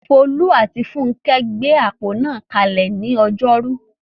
Folú àti Funkẹ́ gbé àpò náà kalẹ̀ ní ọjọ́rú.